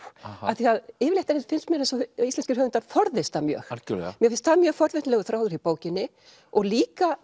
af því að yfirleitt finnst mér eins og íslenskir höfundar forðist það mjög mér finnst það mjög forvitnilegur þráður í bókinni og líka